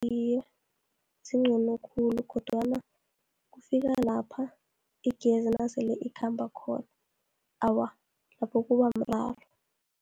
Iye, zincono khulu, kodwana kufika lapha igezi nasele ikhamba khona, awa, lapho kuba mraro.